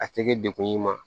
A tɛ kɛ dekun y'i ma